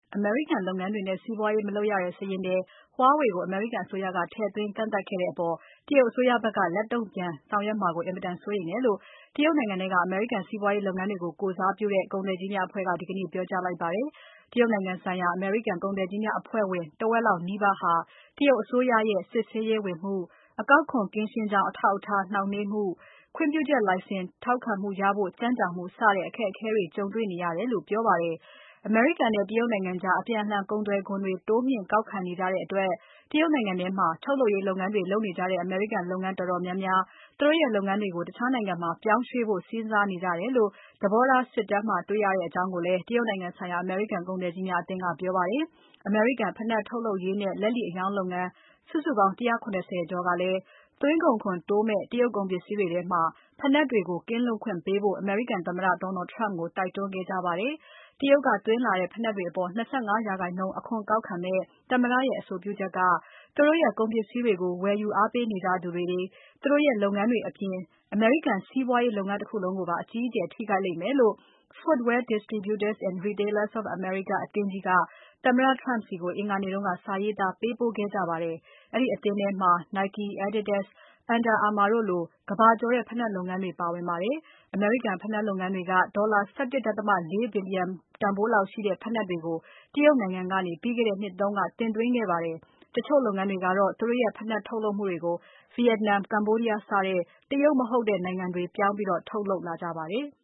အမေရိကန်လုပ်ငန်းတွေနဲ့ စီးပွားရေးမလုပ်ရတဲ့ စာရင်းထဲ Huawei ကို အမေရိကန် အစိုးရက ထည့်သွင်း ကန့်သတ်ခဲ့တဲ့အပေါ် တရုတ်အစိုးရက လက်တုံ့ ပြန်ဆောင်ရွက်မှာကို အင်မတန် စိုးရိမ်တယ်လို့ တရုတ်နိုင်ငံထဲက အမေရိကန် စီးပွားရေးလုပ်ငန်းတွေကို ကိုယ်စားပြုတဲ့ ကုန်သည်ကြီးများအဖွဲ့က ဒီကနေ့ ပြောကြားလိုက်ပါတယ်။ တရုတ်နိုင်ငံဆိုင်ရာ အမေရိကန် ကုန်သည်ကြီးများ အဖွဲ့ဝင် တဝက်လောက်နီးပါးဟာ အစိုးရရဲ့ စစ်ဆေးရေးဝင်မှု၊ အကောက်ခွန်ကင်းရှင်းကြောင်း အထောက်အထား နှောင့်နှေးမှု၊ ခွင့်ပြုချက်လိုင်စင် ထောက်ခံမှုရဖို့ ကြန့်ကြာမှုစတဲ့ အခက်အခဲတွေ ကြုံနေကြတယ်လို့ ပြောပါတယ်။ အမေရိကန်နဲ့ တရုတ်နိုင်ငံကြား အပြန်အလှန် ကုန်သွယ်ခွန်တွေ တိုးမြှင့် ကောက်ခံနေကြတဲ့အတွက် တရုတ်နိုင်ငံထဲမှာ ထုတ်လုပ်ရေး လုပ်ငန်းတွေ လုပ်နေကြတဲ့ အမေရိကန် လုပ်ငန်းတော်တော်များများ သူတို့ရဲ့လုပ်ငန်းတွေကို တခြားနိုင်ငံတွေမှာ ပြောင်းရွှေ့ဖို့ စဉ်းစားနေကြတယ်လို့ သဘောထား စစ်တမ်းမှာ တွေ့ရကြောင်း တရုတ်နိုင်ငံဆိုင်ရာ အမေရိကန် ကုန်သည်ကြီးများအသင်းက ပြောပါတယ်။ အမေရိကန် ဖိနပ်ထုတ်လုပ်ရေးနဲ့ လက်လီအရောင်းလုပ်ငန်း စုစုပေါင်း ၁၇၀ ကျော်ကလည်း သွင်းကုန်ခွန်တိုးမယ့် တရုတ်ကုန်ပစ္စည်းတွေထဲမှာ ဖိနပ်တွေကို ကင်းလွတ်ခွင့်ပေးဖို့ အမေရိကန်သမ္မတ Donald Trump ကို တိုက်တွန်းခဲ့ကြပါတယ်။ တရုတ်ကသွင်းလာတဲ့ ဖိနပ်တွေအပေါ် ၂၅ရာခိုင်နှုန်း အခွန်ကောက်ခံမယ့် သမ္မတရဲ့ အဆိုပြုချက်က သူတို့ရဲ့ကုန်ပစ္စည်းတွေကို ဝယ်ယူအားပေးနေကြသူတွေ သူတို့ရဲ့လုပ်ငန်းတွေအပြင် အမေရိကန် စီးပွားရေးတခုလုံးကိုပါ အကြီးအကျယ် ထိခိုက်လိမ့်မယ်လို့ Footwear Distributors and Retailers of America အသင်းကြီးက သမ္မတ Trump ဆီကို အင်္ဂါနေ့က စာရေးသား ပေးပို့ခဲ့ကြပါတယ်။ အဲဒီအသင်းထဲမှာ Nike၊ Adidas၊ Under Armour တို့လိုကမ္ဘာကျော်တဲ့ ဖိနပ်လုပ်ငန်းကြီးတွေ ပါဝင်ပါတယ်။ အမေရိကန် ဖိနပ်လုပ်ငန်းတွေက ဒေါ်လာ ၁၁.၄ ဘီလျံတန်ဖိုးရှိတဲ့ ဖိနပ်တွေကို တရုတ်နိုင်ငံကနေ ပြီးခဲ့တဲ့နှစ်က တင်သွင်းခဲ့ပါတယ်။ တချို့လုပ်ငန်းတွေကတော့ သူတို့ရဲ့ ဖိနပ် ထုတ်လုပ်မှုတွေကို Vietnam၊ Cambodia စတဲ့ တရုတ်မဟုတ်တဲ့ နိုင်ငံတွေပြောင်းပြီး ထုတ်လုပ်လာကြပါတယ်။